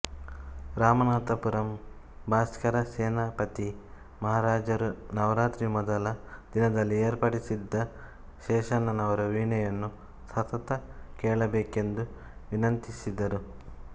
ರಾಮನಾಥ ಪುರಂ ಭಾಸ್ಕರ ಸೇತುಪತಿ ಮಹಾರಾಜರು ನವರಾತ್ರಿ ಮೊದಲ ದಿನದಲ್ಲಿ ಏರ್ಪಡಿಸಿದ್ದ ಶೇಷಣ್ಣನವರ ವೀಣೆಯನ್ನು ಸತತ ಕೇಳಬೇಕೆಂದು ವಿನಂತಿಸಿದರು